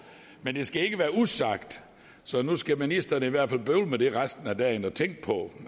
men det skal ikke være usagt så nu skal ministeren i hvert fald bøvle med det resten af dagen og tænke på